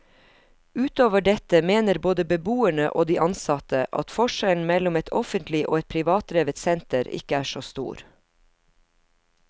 Utover dette mener både beboerne og de ansatte at forskjellen mellom et offentlig og et privatdrevet senter ikke er så stor.